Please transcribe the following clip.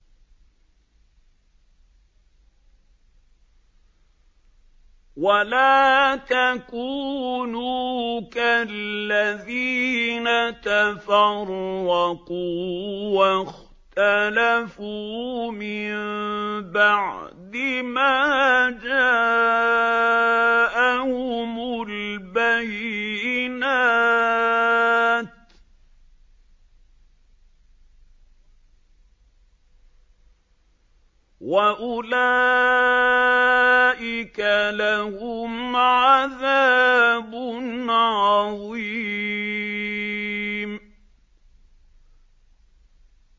وَلَا تَكُونُوا كَالَّذِينَ تَفَرَّقُوا وَاخْتَلَفُوا مِن بَعْدِ مَا جَاءَهُمُ الْبَيِّنَاتُ ۚ وَأُولَٰئِكَ لَهُمْ عَذَابٌ عَظِيمٌ